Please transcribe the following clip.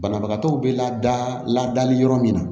Banabagatɔw bɛ lada ladali yɔrɔ min na